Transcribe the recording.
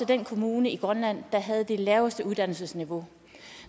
den kommune i grønland der har det laveste uddannelsesniveau